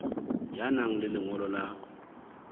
ya nang le lengolo la